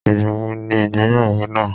igba wo ni igbeyawo naa